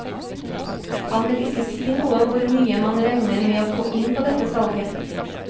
Han vil ikke si noe om hvor mye man regner med å få inn på dette salget.